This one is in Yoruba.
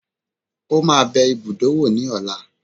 Ó máa bẹ ibùdó wò ní ọ̀la